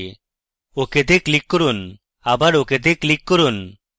ok র্তে click করুন আবার ok তে ক্লিক করুন